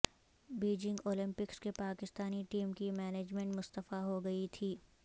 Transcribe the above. Beijing Olympics کے Pakistani team کی management مستعفی ہوگئی تھی